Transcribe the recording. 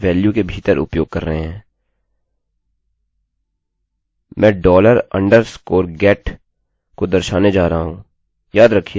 मैं डॉलर अंडरस्कोरअधोरेखागेटdollar underscore getको दर्शाने जा रहा हूँयाद रखिये सिंगल उद्धरणचिह्नोंsingle quotesका प्रयोग करके